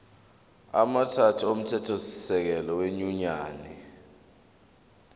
amathathu omthethosisekelo wenyunyane